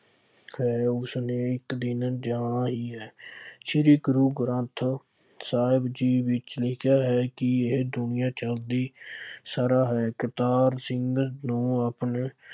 ਖੈਰ ਉਸਨੇ ਇੱਕ ਦਿਨ ਜਾਣਾ ਹੀ ਹੈ। ਸ਼੍ਰੀ ਗੁਰੂ ਗ੍ਰੰਥ ਸਾਹਿਬ ਜੀ ਵਿੱਚ ਲਿਖਿਆ ਹੈ ਕਿ ਇਹ ਦੁਨੀਆ ਚੱਲਦੀ ਸਰ੍ਹਾ ਹੈ। ਕਰਤਾਰ ਸਿੰਘ ਨੂੰ ਆਪਣੇ